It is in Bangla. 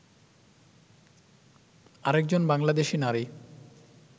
আরেকজন বাংলাদেশী নারী